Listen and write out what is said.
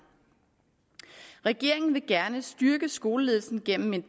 regeringen vil gerne styrke skoleledelsen gennem en